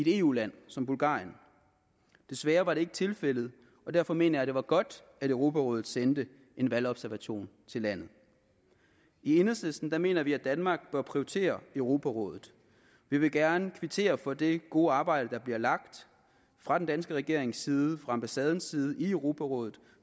eu land som bulgarien desværre var det ikke tilfældet og derfor mener jeg det var godt at europarådets sendte valgobservatører til landet i enhedslisten mener vi at danmark bør prioritere europarådet vi vil gerne kvittere for det gode arbejde der bliver lagt fra den danske regerings side fra ambassadens side i europarådet